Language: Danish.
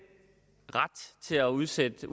ret til at udsætte